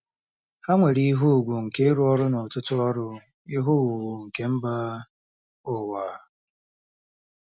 Ha nwere ihe ùgwù nke ịrụ ọrụ n'ọtụtụ ọrụ ihe owuwu nke mba ụwa.